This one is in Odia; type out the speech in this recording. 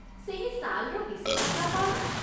ସେହି ଶାଲ୍‌ର ବିଶେଷତା କ'ଣ?